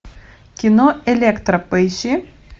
кино электра поищи